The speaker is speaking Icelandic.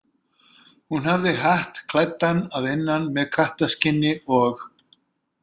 "Hún hafði hatt klæddan að innan með kattarskinni og ""."